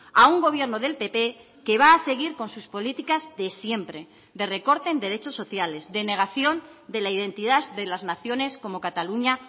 a un gobierno del pp que va a seguir con sus políticas de siempre de recorte en derechos sociales de negación de la identidad de las naciones como cataluña